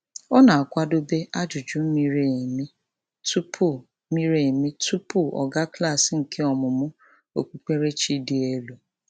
Ọ na-akwadobe ajụjụ miri emi tụpụ miri emi tụpụ ọ gaa klaasị nke ọmúmú okpukperechi dị elu.